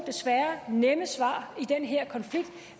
nemme svar i den her konflikt